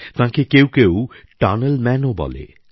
তাঁকে কেউ কেউ টানেল ম্যানও বলেন